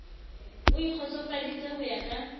o ikgotsofaditse ho ya ka